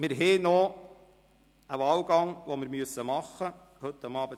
Wir haben noch einen Wahlgang zu tätigen, und zwar zwingend heute Abend.